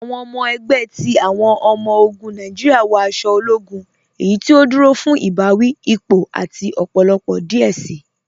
Awọn ọmọ ẹgbẹ ti awọn ọmọ-ogun Nàìjíríà wọ aṣọ ológún, eyí tí ó dúró fún ibàwí, ípò, àti ọpọlọpọ díẹ̀ sí.